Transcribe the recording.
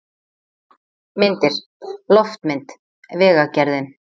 Myndir: Loftmynd: Vegagerðin.